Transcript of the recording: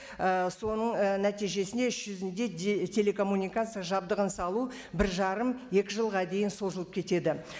ііі соның і нәтижесінде іс жүзінде телекоммуникация жабдығын салу бір жарым екі жылға дейін созылып кетеді